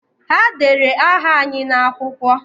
Ha dere aha anyị n'akwụkwọ